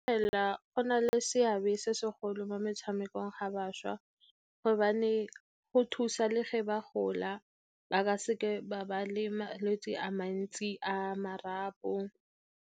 Fela go na le seabe se segolo mo metsamekong ga bašwa gobane go thusa le ge ba gola, ba ka seke ba ba le malwetse a mantsi a marapo.